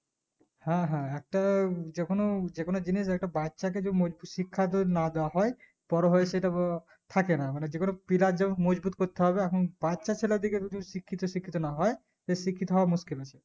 হ্যাঁ হ্যাঁ একটা যেকোনো যেকোনো একটা জিনিস একটা বাচ্চাকে যদি মজবুত শিক্ষা তোর না দেয় হয় বোরো হয়ে সেত থাকেনা মানে যেকোনো pillar যেকোন মজবুত করতে হবে এখন বাচ্চা ছেলেদিকে যদি শিক্ষিত শিক্ষিত না হয় তো শিক্ষিত হওয়া মুশকিল আছে